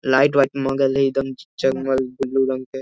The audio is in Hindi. लाइट वाइट मांगल हई एक दम जग-मग ब्लू रंग के --